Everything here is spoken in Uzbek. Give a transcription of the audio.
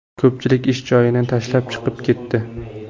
Ko‘pchilik ish joyini tashlab chiqib ketdi.